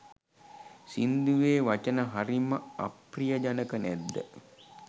සිංදුවේ වචන හරිම අප්‍රියජනක නැද්ද?